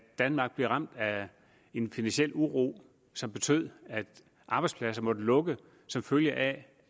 danmark blev ramt af en finansiel uro som betød at arbejdspladser måtte lukke som følge af